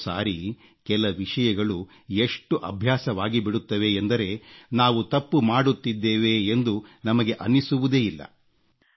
ಎಷ್ಟೋ ಸಾರಿ ಕೆಲ ವಿಷಯಗಳು ಎಷ್ಟು ಅಭ್ಯಾಸವಾಗಿಬಿಡುತ್ತವೆ ಎಂದರೆ ನಾವು ತಪ್ಪು ಮಾಡುತ್ತಿದ್ದೇವೆ ಎಂದು ನಮಗೆ ಅನ್ನಿಸುವುದೇ ಇಲ್ಲ